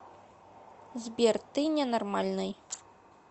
сбер ты ненормальный